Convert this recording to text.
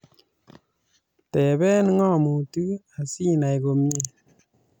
Tebee ng'omutik asinai komye